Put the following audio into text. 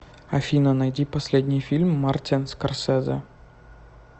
афина найди последний фильм мартин скорсезе